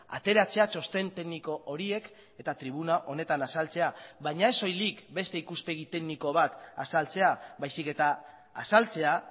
ateratzea txosten tekniko horiek eta tribuna honetan azaltzea baina ez soilik beste ikuspegi tekniko bat azaltzea baizik eta azaltzea